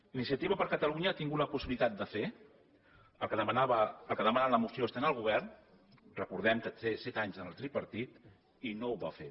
iniciativa per catalunya ha tingut la possibilitat de fer el que demana la moció estant al govern recordem que té set anys en el tripartit i no ho va fer